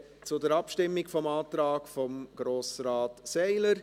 Wir kommen zur Abstimmung über den Antrag von Grossrat Seiler.